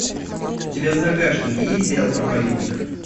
у тебя в загашнике есть сериал проповедник